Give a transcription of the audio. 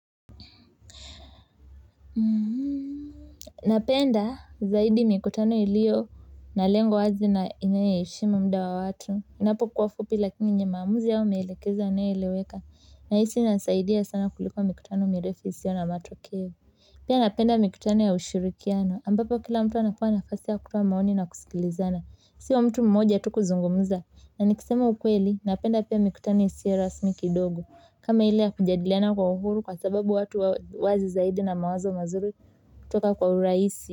Napenda zaidi mikutano iliyo na lengo wazi na inayoheshimu muda wa watu inapo kuwafupi lakini yenye maamuzi au maelekezo yanayo eleweka nahisi inasaidia sana kuliko mikutano mirefu isiyo na matokeo pia napenda mikutano ya ushirikiano ambapo kila mtu anapewa nafasi ya kutoa maoni na kusikilizana sio mtu mmoja tu kuzungumuza na nikisema ukweli napenda pia mikutano isiyo rasmi kidogo kama ile ya kujadiliana kwa uhuru kwa sababu watu wazi zaidi na mawazo mazuri kutoka kwa urahisi.